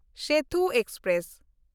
Sethu express